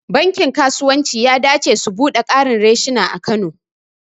Bankin kasuwanci ya dace au buɗe ƙarin reshina a kano.